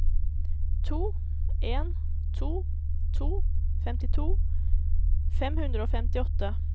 to en to to femtito fem hundre og femtiåtte